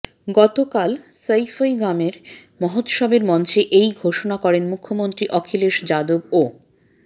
গতকাল সইফই গ্রামে মহোত্সবের মঞ্চে এই ঘোষনা করেন মুখ্যমন্ত্রী অখিলেশ যাদব ও